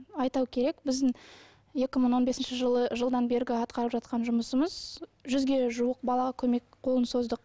айту керек біздің екі мың он бесінші жылы жылдан бергі атқарып жатқан жұмысымыз жүзге жуық балаға көмек қолын создық